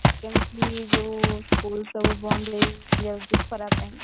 କେମିତି ଯୋଉ school ସବୁ ବନ୍ଦ ହେଇଯାଉଛି ସବୁ ଖରା ପାଇଁ ?